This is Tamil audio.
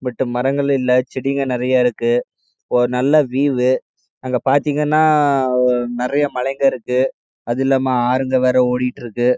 ஆனால் மரங்கள் இல்ல செடிகள் நிறைய இருக்கு ஒரு நல்ல விஎவ் அங்க பாதிகென நிறைய மலைகள் இருக்கு அது இல்லாம ஆறு ஓடிடுருக்கு